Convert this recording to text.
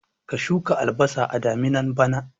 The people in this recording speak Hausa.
Ka shuka albasa a daminan bana